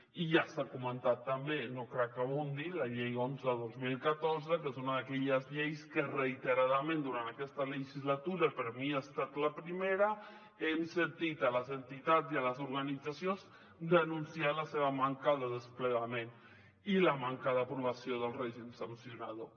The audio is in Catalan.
i ja s’ha comentat també no cal que hi abundi la llei onze dos mil catorze que és una d’aquelles lleis que reiteradament durant aquesta legislatura per a mi ha estat la primera hem sentit les entitats i les organitzacions denunciar la seva manca de desplegament i la manca d’aprovació del règim sancionador